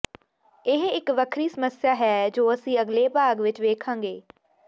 ਇਹ ਇੱਕ ਵੱਖਰੀ ਸਮੱਸਿਆ ਹੈ ਜੋ ਅਸੀਂ ਅਗਲੇ ਭਾਗ ਵਿੱਚ ਵੇਖਾਂਗੇ